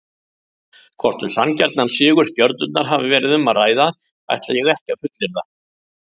Hvort um sanngjarnan sigur Stjörnunnar hafi verið um að ræða ætla ég ekki að fullyrða.